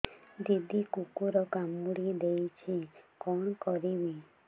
ଦିଦି କୁକୁର କାମୁଡି ଦେଇଛି କଣ କରିବି